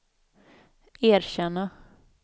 erkänna